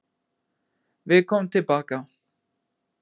Við komum tilbaka.